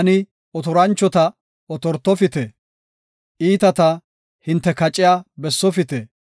Taani otoranchota, ‘Otortofite’; iitata, ‘Hinte kaciya bessofite.’